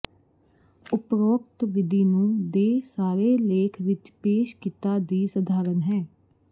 ਉਪਰੋਕਤ ਵਿਧੀ ਨੂੰ ਦੇ ਸਾਰੇ ਲੇਖ ਵਿਚ ਪੇਸ਼ ਕੀਤਾ ਦੀ ਸਧਾਰਨ ਹੈ